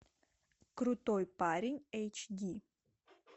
крутой парень эйч ди